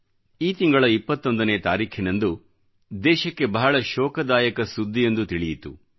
ಈ ತಿಂಗಳ 21 ನೇ ತಾರೀಖಿನಂದು ದೇಶಕ್ಕೆ ಬಹಳ ಶೋಕದಾಯಕ ಸುದ್ದಿಯೊಂದು ತಿಳಿಯಿತು